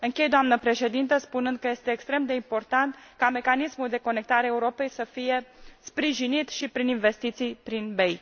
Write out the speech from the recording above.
Închei, doamnă președinte, spunând că este extrem de important ca mecanismul pentru interconectarea Europei să fie sprijinit și prin investiții prin BEI.